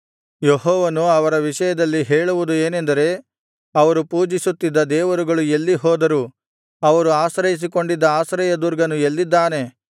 ಯೆಹೋವನು ಅವರ ವಿಷಯದಲ್ಲಿ ಹೇಳುವುದು ಏನೆಂದರೆ ಅವರು ಪೂಜಿಸುತ್ತಿದ್ದ ದೇವರುಗಳು ಎಲ್ಲಿ ಹೋದರು ಅವರು ಆಶ್ರಯಿಸಿಕೊಂಡಿದ್ದ ಆಶ್ರಯದುರ್ಗನು ಎಲ್ಲಿದ್ದಾನೆ